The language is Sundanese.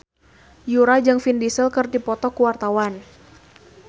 Yura jeung Vin Diesel keur dipoto ku wartawan